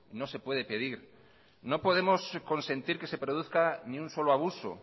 no se puede pedir no podemos consentir que se produzca ni un solo abuso